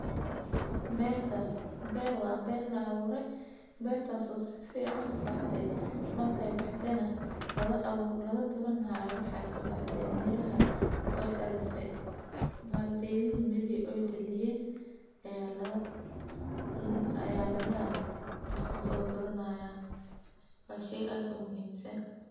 Bertas ber wa ber laabure. Bertas oo si feecan ubaxdee mar kay baxdeenaa lada abuu lada duran ha waxay sabaxdeen miraha oy dhaleese baal deediin miri oy dhaliyeen. Ayaa lada ayaa lada soo duranaya bashay aad u muhiimsan.